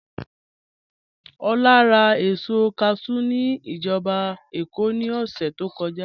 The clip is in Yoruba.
Ọlá rà èsọ̀ káshù ní ìjàbọ̀ Ékó ní ọ̀ṣẹ̀ tó kọ́jà.